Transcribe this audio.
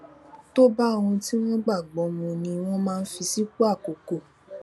tó bá ohun tí wón gbàgbó mu ni wón máa ń fi sípò àkókó